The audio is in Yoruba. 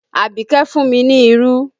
Abike fún mi ní irú